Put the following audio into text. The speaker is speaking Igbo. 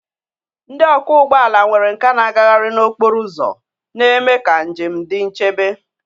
Ndị ọkwọ ụgbọ ala nwere nkà na-agagharị n'okporo ụzọ, na-eme ka njem dị nchebe.